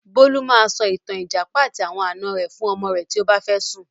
Bólú máa sọ ìtàn 'Ìjàpá àti àwọn àná rẹ' fún ọmọ rẹ̀ tí ó bá fẹ́ sùn.